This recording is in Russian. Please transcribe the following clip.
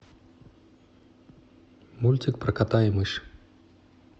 мультик про кота и мышь